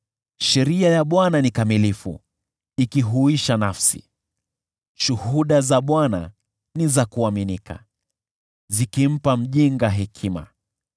Sheria ya Bwana ni kamilifu, ikihuisha nafsi. Shuhuda za Bwana ni za kuaminika, zikimpa mjinga hekima.